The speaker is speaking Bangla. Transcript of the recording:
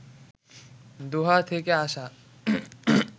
দোহা থেকে আসা